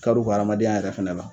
Kar'u ka adamadenya yɛrɛ fɛnɛ la